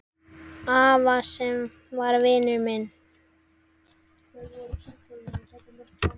Afa sem var vinur minn.